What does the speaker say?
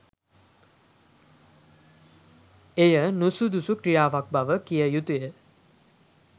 එය නුසුදුසු ක්‍රියාවක් බව කිව යුතු ය.